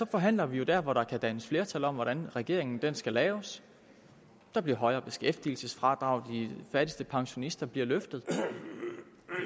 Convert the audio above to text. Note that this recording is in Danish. forhandler vi jo der hvor der kan dannes flertal om hvordan regeringen skal laves der bliver højere beskæftigelsesfradrag de fattigste pensionister bliver løftet